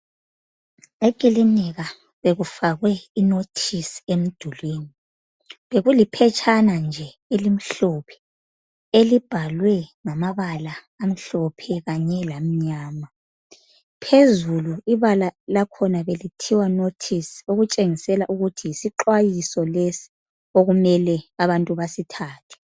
Ekilinika bekufakwe inothisi emdulini. Bekuliphetshana nje elimhlophe elibhalwe ngamabala amhlophe kanye lamnyama. Phezulu ibala lakhona belithiwa nothisi ukutshengisela ukuthi yisixhwayiso lesi okumele abantu basithathe.